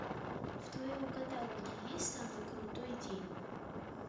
в твоем каталоге есть самый крутой день